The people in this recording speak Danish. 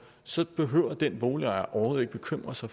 så behøver den boligejer overhovedet ikke bekymre sig